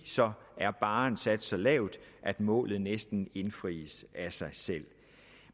så er barren sat så lavt at målet næsten indfries af sig selv